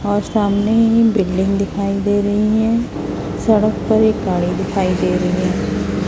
और सामने बिल्डिंग दिखाई दे रहीं है सड़क पर एक गाड़ी दिखाई दे रहीं हैं।